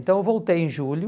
Então eu voltei em julho,